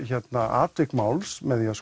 atvik máls með því að